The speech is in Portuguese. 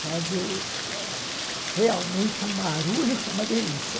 Fazer realmente um barulho que é uma delícia.